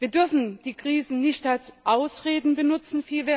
Wir dürfen die Krisen nicht als Ausreden benutzen.